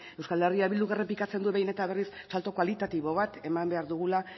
eh bilduk errepikatzen du behin eta berriz salto kualitatibo bat eman behar dugula